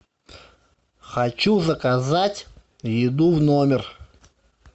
хочу заказать еду в номер